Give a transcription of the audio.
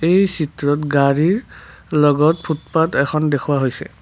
এই চিত্ৰত গাড়ীৰ লগত ফোটপাথ এখন দেখুওৱা হৈছে।